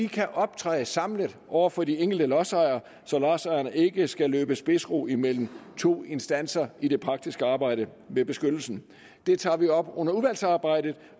kan optræde samlet over for de enkelte lodsejere så lodsejerne ikke skal løbe spidsrod imellem to instanser i det praktiske arbejde med beskyttelsen det tager vi op under udvalgsarbejdet